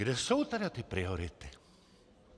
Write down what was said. Kde jsou tedy ty priority?